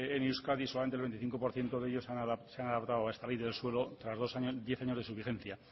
en euskadi solamente el veinticinco por ciento de ellos se han adaptado a esta ley del suelo tras diez años de su vigencia